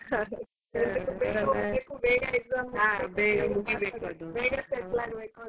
ಬೇಗ ಹೋಗ್ಬೇಕು ಬೇಗ exam ಮುಗಿಬೇಕು ಬೇಗ settle ಆಗ್ಬೇಕಂತ.